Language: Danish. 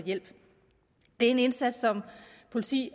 hjælp den indsats som politiet